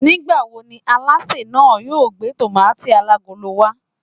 Nigbawo ni àlásè náà yóò gbé tomaati alagolo wa?